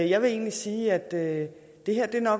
jeg vil egentlig sige at det her